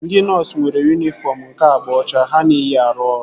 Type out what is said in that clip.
Ndị nọọsu nwere yunifọm nke agba ọcha ha na-eyi arụ ọrụ